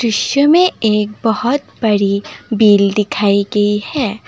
दृश्य में एक बहोत बड़ी बिल दिखाई गई है।